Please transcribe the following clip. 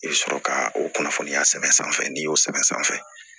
I bɛ sɔrɔ ka o kunnafoniya sɛbɛn sanfɛ n'i y'o sɛbɛn sanfɛ